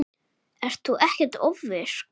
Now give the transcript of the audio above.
Ert þú ekkert ofvirk?